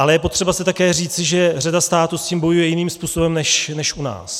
Ale je potřeba si také říci, že řada států s tím bojuje jiným způsobem než u nás.